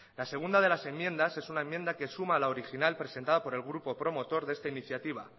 la segunda de la enmiendas es una enmienda que suma la original presentada por el grupo promotor de esta iniciativa